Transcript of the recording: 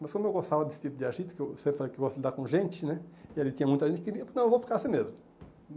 Mas como eu gostava desse tipo de agito, que eu sempre falei que gosto de lidar com gente né, e ali tinha muita gente, eu queria, porque não, eu vou ficar assim mesmo.